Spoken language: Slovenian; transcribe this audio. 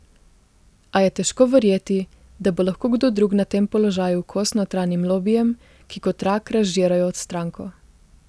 A je težko verjeti, da bo lahko kdo drug na tem položaju kos notranjim lobijem, ki kot rak razžirajo stranko.